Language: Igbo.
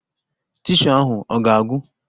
Tishuu ahụ ọ ga-agwụ?